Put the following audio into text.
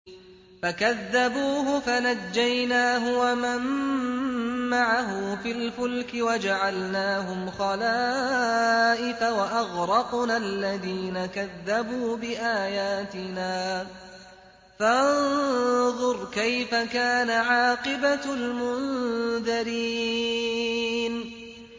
فَكَذَّبُوهُ فَنَجَّيْنَاهُ وَمَن مَّعَهُ فِي الْفُلْكِ وَجَعَلْنَاهُمْ خَلَائِفَ وَأَغْرَقْنَا الَّذِينَ كَذَّبُوا بِآيَاتِنَا ۖ فَانظُرْ كَيْفَ كَانَ عَاقِبَةُ الْمُنذَرِينَ